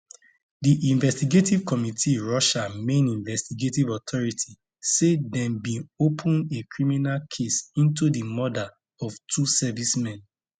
di investigative committee russia main investigative authority say dem bin open a criminal case into di murder of two servicemen